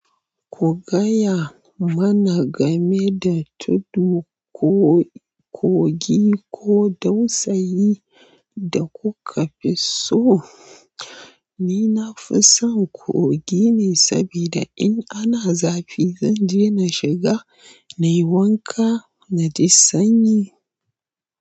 Ku gaya mana game da tudu, ko-kogi ko dausayin da kuka fi so. Ni na fi son kogi ne saboda in ana zafi zan je na shiga, na yi wanka na ji sanyi.